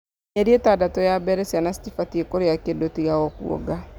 Mĩeri ĩtandatũ ya mbere ciana citibatiĩ kũrĩa kĩndũ tiga o kuonga